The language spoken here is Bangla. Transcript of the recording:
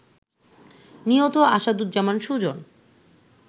নিহত আসাদুজ্জামান সুজন